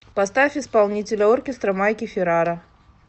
поставь исполнителя оркестра майки феррара